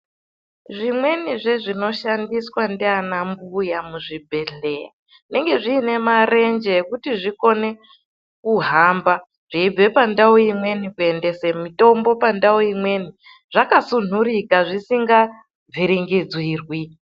Zvimweni zvezvinoshandiswa ndianambuya muzvibhedhlera zvinenge zvine marenje ekuti zvikone kuhamba zveibva pandau imweni kuendese mitombo pandau imweni zvakasundurika zvisingavhiringidzirwi